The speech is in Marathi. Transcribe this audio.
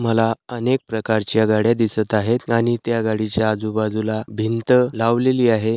मला अनेक प्रकारच्या गाड्या दिसत आहे आणि त्या गाडीच्या आजूबाजूला भिंत लावलेली आहे.